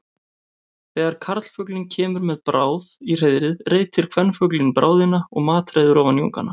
Þegar karlfuglinn kemur með bráð í hreiðrið reitir kvenfuglinn bráðina og matreiðir ofan í ungana.